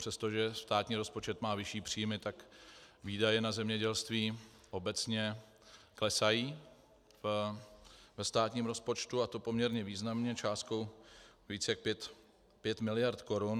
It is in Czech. Přestože státní rozpočet má vyšší příjmy, tak výdaje na zemědělství obecně klesají ve státním rozpočtu, a to poměrně významnou částkou víc jak 5 miliard korun.